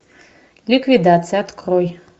ликвидация открой